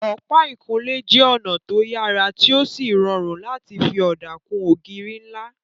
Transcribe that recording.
Ọ̀pá ìkunlé jẹ́ ọ̀nà tó yàrá tí ó sì rọrùn láti fi ọ̀dà kun ògiri ńlá